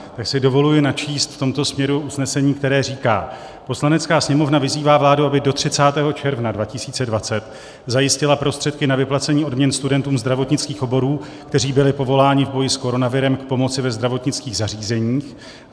Tak si dovoluji načíst v tomto směru usnesení, které říká: "Poslanecká sněmovna vyzývá vládu, aby do 30. června 2020 zajistila prostředky na vyplacení odměn studentům zdravotnických oborů, kteří byli povoláni v boji s koronavirem k pomoci ve zdravotnických zařízeních."